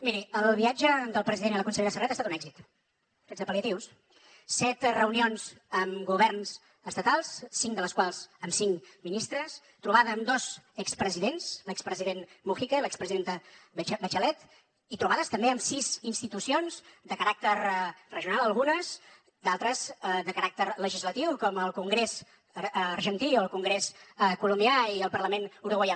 miri el viatge del president i la consellera serret ha estat un èxit sense pal·liatius set reunions amb governs estatals cinc de les quals amb cinc ministres trobada amb dos expresidents l’expresident mujica i l’expresidenta bachelet i trobades també amb sis institucions de caràcter regional algunes d’altres de caràcter legislatiu com el congrés argentí o el congrés colombià i el parlament uruguaià